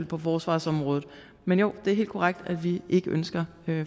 på forsvarsområdet men jo det er helt korrekt at vi ikke ønsker